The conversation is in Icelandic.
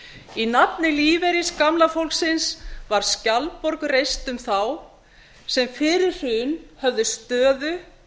í nafni lífeyris gamla fólksins var skjaldborg reist um þá sem fyrir hrun höfðu stöðu